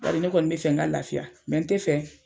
Bari ne kɔni be fɛ n ka lafiya n te fɛ